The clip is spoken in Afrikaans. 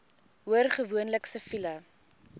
hoor gewoonlik siviele